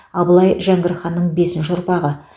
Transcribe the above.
абылай жәңгір ханның бесінші ұрпағы